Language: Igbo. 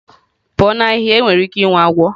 pụọ na ahihia enwere ike inwe agwọ.